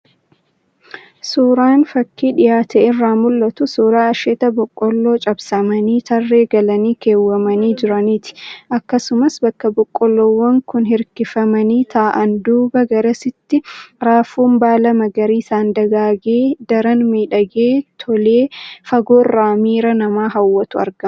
Suuraan fakii dhiyaate irraa mul'atu, suuraa asheeta Boqqolloo cabsamanii tarree galanii keewwamanii jiraniiti. Akkasumas bakka Boqqolloowwan kun hirkifamanii taa'an duubaan garasitti raafuun baala magariisaan dagaage, daran miidhagee tolee fagoorraan miira namaa hawwatutu argama.